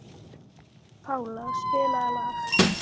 Pála, spilaðu lag.